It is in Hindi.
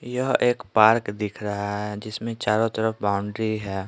यह एक पार्क दिख रहा है जिसमें चारों तरफ बाउंड्री है।